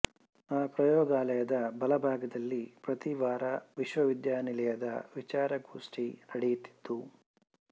ಆ ಪ್ರಯೋಗಾಲಯದ ಬಲಭಾಗದಲ್ಲಿ ಪ್ರತಿ ವಾರ ವಿಶ್ವವಿದ್ಯಾನಿಲಯದ ವಿಚಾರಗೋಷ್ಠಿ ನಡೆಯುತ್ತಿತ್ತು